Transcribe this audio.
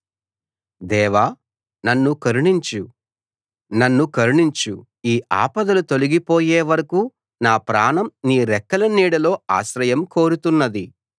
దేవా నన్ను కరుణించు నన్ను కరుణించు ఈ ఆపదలు తొలగిపోయే వరకూ నా ప్రాణం నీ రెక్కల నీడలో ఆశ్రయం కోరుతున్నది